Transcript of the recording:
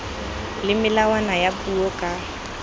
le melawana ya puo ka